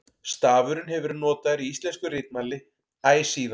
Stafurinn hefur verið notaður í íslensku ritmáli æ síðan.